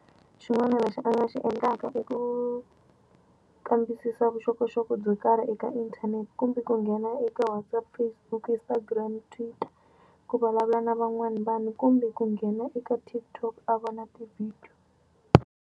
Xin'wana lexi a ni nga xi endlaka i ku kambisisa vuxokoxoko byo karhi eka internet kumbe ku nghena eka WhatsApp, Facebook, Instagram, Twitter ku vulavula na van'wana vanhu kumbe ku nghena eka TikTok a vona ti-video.